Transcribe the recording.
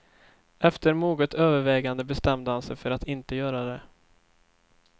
Efter moget övervägande bestämde han sig för att inte göra det.